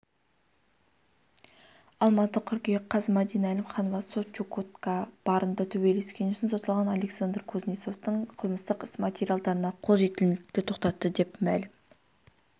алматы қыркүйек қаз мадина әлімханова сот чукотка барында төбелескені үшін сотталған александр кузнецовтың қылмыстық іс материалдарына қол жетімділікті тоқтатты деп мәлім